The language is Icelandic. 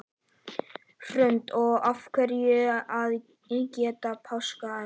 Hrund: Og af hverju að gefa páskaegg?